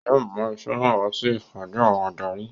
Yóò mú iṣẹ́ náà wá sí ìpàdé àwọn adarí